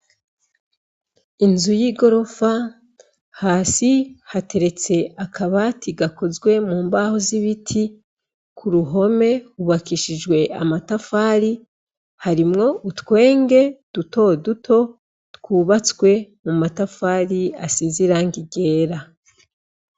Inzu y'ingorofa hasi hateretse akabati gakozwe mumbaho z'ibiti, kuruhome hubakishijwe amatafari harimwo utwege dutoduto twubatswe mu matafari asize iragi ryera.